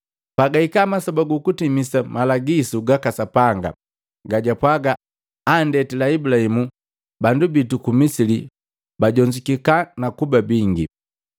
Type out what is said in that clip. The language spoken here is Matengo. “Pagahika masoba gukutimisa malagisu gaka Sapanga, gajapwaga antendila Ibulahimu, bandu bitu ku Misili bajonzukika na kuba bingi.